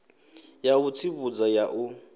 ya u tsivhudza ya u